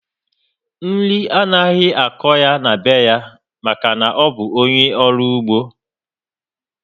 Nri anaghị akọ na be ya maka na ọ bụ ónyé ọrụ ugbo